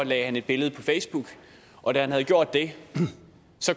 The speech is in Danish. lagde han et billede på facebook og da han havde gjort det